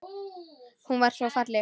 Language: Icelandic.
Hún var svo falleg.